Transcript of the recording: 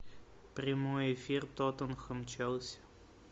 прямой эфир тоттенхэм челси